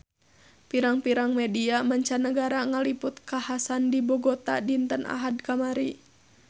Pirang-pirang media mancanagara ngaliput kakhasan di Bogota dinten Ahad kamari